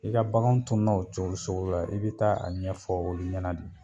I ka bakanw tununa o cogo sugu la , i be taa a ɲɛfɔ olu ɲɛna de.